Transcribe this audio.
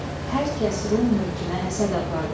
Hər kəs Rum mülkünə həsəd apardı.